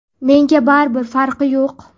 Menga baribir, farqi yo‘q.